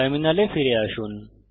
টার্মিনালে ফিরে আসুন